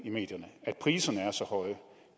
at priserne er så høje